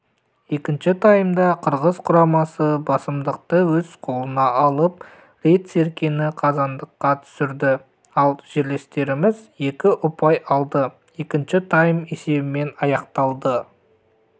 екінші таймда қырғыз құрамасы басымдықты өз қолына алып рет серкені қазандыққа түсірді ал жерлестеріміз екі ұпай алды екінші тайм есебімен аяқталды